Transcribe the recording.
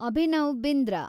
Abhinav Bindra